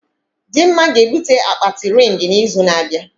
Dimma ga-ebute akpati rịng na izu na abịa